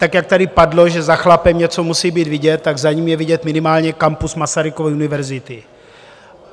Tak jak tady padlo, že za chlapem něco musí být vidět, tak za ním je vidět minimálně kampus Masarykovy univerzity.